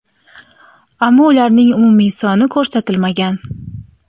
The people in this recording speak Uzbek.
ammo ularning umumiy soni ko‘rsatilmagan.